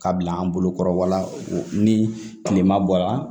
Ka bila an bolo kɔrɔwala ni kilema bɔra